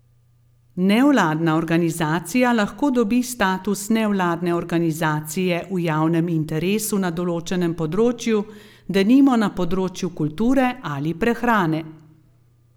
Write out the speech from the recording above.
Nevladna organizacija lahko dobi status nevladne organizacije v javnem interesu na določenem področju, denimo na področju kulture ali prehrane.